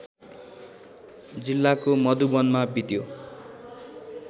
जिल्लाको मधुवनमा बित्यो